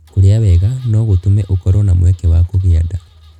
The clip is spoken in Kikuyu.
Kũrĩa wega no gũtũme ũkorũo na mweke wa kũgĩa nda.